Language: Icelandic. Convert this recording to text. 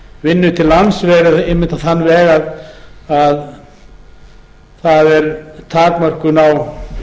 vinnu til lands einmitt verið á þann veg að það er takmörkun á